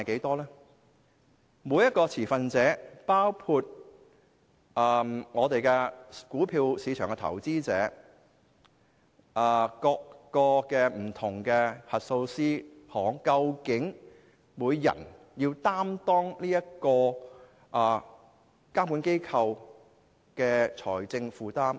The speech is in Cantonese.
至於每一個持份者，包括股票市場的投資者、不同的核數師行，究竟要分攤這個監管機構多少財政負擔？